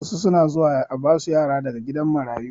Wasu suna zuwa a basu yara daga gidan marayu